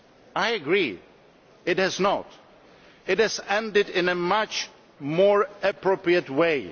I agree that it did not. It ended in a much more appropriate way.